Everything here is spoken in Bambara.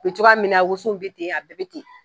A be cogoya min wosow be ten a bɛɛ be ten